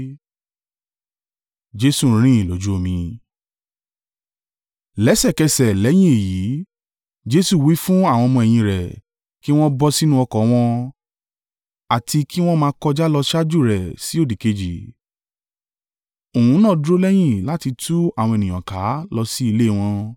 Lẹ́sẹ̀kẹsẹ̀ lẹ́yìn èyí, Jesu wí fún àwọn ọmọ-ẹ̀yìn rẹ̀ kí wọ́n bọ sínú ọkọ̀ wọn, àti kí wọ́n máa kọjá lọ ṣáájú rẹ̀ sí òdìkejì. Òun náà dúró lẹ́yìn láti tú àwọn ènìyàn ká lọ sí ilé wọn.